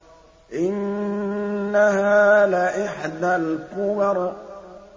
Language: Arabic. إِنَّهَا لَإِحْدَى الْكُبَرِ